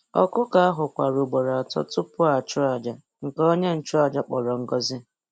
Ọkụkọ ahụ kwara ugboro atọ tupu a chụọ àjà, nke onye nchụàjà kpọrọ ngọzi.